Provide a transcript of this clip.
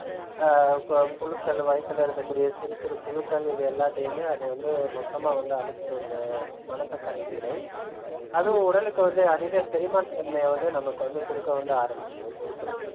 ஆஹ் கோ~ புழுக்கள் வைத்தில இருக்கக்கூடிய சிறுசிறு புழுக்கள் இது எல்லாத்தையுமே அது வந்து மொத்தமா வந்து அழிச்சிடும் இந்த மணத்தக்காளி கீரை. அதுவும் உடலுக்கு வந்து அதிக செரிமான தன்மையை வந்து நமக்கு வந்து கொடுக்க வந்து ஆரம்பிச்சிடும் கொடுத்திடும்